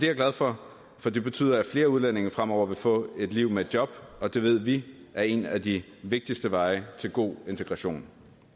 jeg glad for for det betyder at flere udlændinge fremover vil få et liv med et job og det ved vi er en af de vigtigste veje til god integration